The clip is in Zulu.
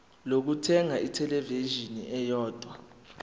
lokuthenga ithelevishini eyodwa